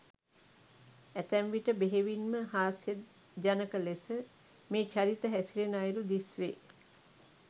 ඇතැම් විට බෙහෙවින්ම හාස්‍යජනක ලෙස මේ චරිත හැසිරෙන අයුරු දිස්වේ.